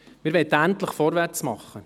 Wir möchten endlich vorwärtsmachen.